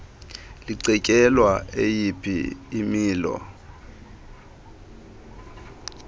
licetyelwa eyiphi imilo